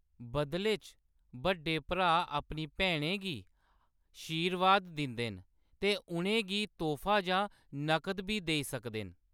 बदले च, बड्डे भ्राऽ अपनी भैनें गी आशीर्वाद दिंदे न ते उʼनें गी तोह्‌‌फा जां नगद बी देई सकदे न।